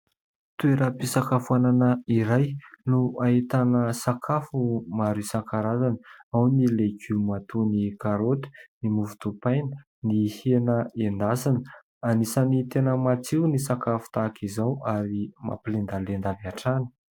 Toeram-pisakafoanana iray no ahitana sakafo maro isan-karazany : ao ny legioma toy ny karoty, ny mofo dipaina, ny hena endasina... Anisan'ny tena matsiro ny sakafo tahaka izao ary mampilendalenda avy hatrany.